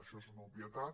això és una obvietat